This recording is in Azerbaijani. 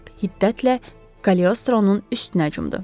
Filip hiddətlə Kaleostronun üstünə cumdu.